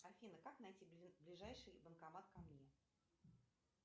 афина как найти ближайший банкомат ко мне